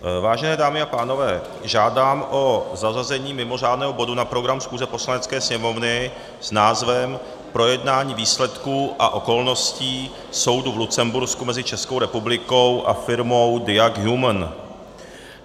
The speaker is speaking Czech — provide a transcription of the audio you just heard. Vážené dámy a pánové, žádám o zařazení mimořádného bodu na program schůze Poslanecké sněmovny s názvem Projednání výsledků a okolností soudu v Lucembursku mezi Českou republikou a firmou Diag Human.